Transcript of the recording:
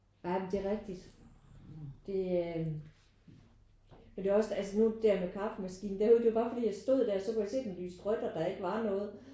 Ej men det er rigtigt. Det er men det var også altså nu der med kaffemaskinen det var jo bare fordi jeg stod der og det lyste rødt og der ikke var noget